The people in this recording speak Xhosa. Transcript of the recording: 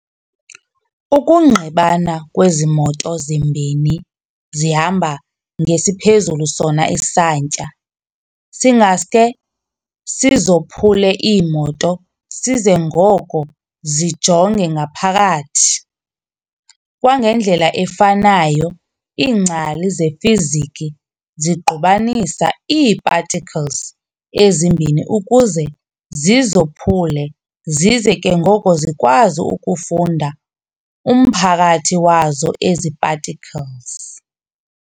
Ukungqibana kwezi moto zimbini zihamba ngesiphezulu sona isantya, singaske sizophule iimoto size ngoko zijonge ngaphakathi. Kwangendlela efanayo, iingcali zefiziki zingqubanisa ii-particles ezimbini ukuze zizophule zize ke ngoko zikwazi ukufunda umphakathi wazo ezi-particles.